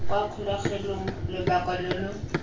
kwa kgolegelong lobaka lo lo